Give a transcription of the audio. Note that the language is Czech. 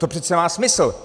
To přece má smysl.